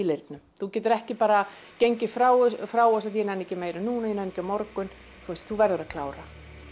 leirnum þú getur ekki bara gengið frá frá þessu af ég nenni ekki meira núna ég nenni á morgun þú verður að klára